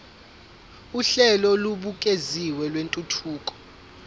uhlelo olubukeziwe lwentuthuko